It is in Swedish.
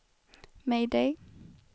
mayday